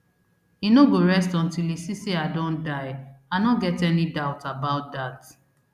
e no go rest until e see say say i don die i no get any doubt about dat